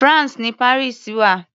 France ni Paris wà.